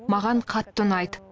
маған қатты ұнайды